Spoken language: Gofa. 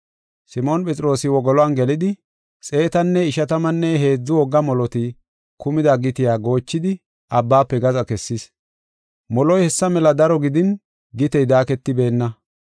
Simoon Phexroosi wogoluwan gelidi, xeetanne ishatammanne heedzu wogga moloti kumida gitiya goochidi abbaafe gaxa kessis. Moloy hessa mela daro gidin gitey daaketibeenna.